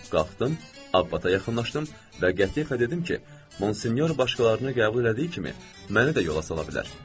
Qalxdım, Abbata yaxınlaşdım və qətiyyətlə dedim ki, Monsinyor başqalarını qəbul elədiyi kimi, məni də yola sala bilər.